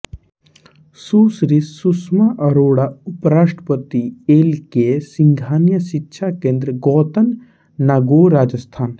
सुश्री सुष्मा अरोड़ा उपराष्ट्रपति L K Singhania शिक्षा केंद्र गोतन नागौर राजस्थान